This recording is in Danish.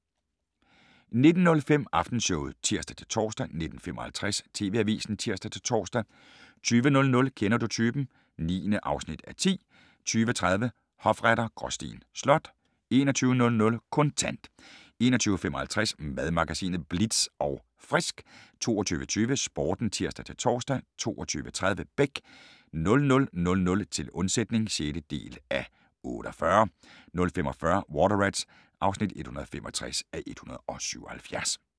19:05: Aftenshowet (tir-tor) 19:55: TV-avisen (tir-tor) 20:00: Kender du typen? (9:10) 20:30: Hofretter: Gråsten Slot 21:00: Kontant 21:55: Madmagasinet Bitz & Frisk 22:20: Sporten (tir-tor) 22:30: Beck 00:00: Til undsætning (6:48) 00:45: Water Rats (165:177)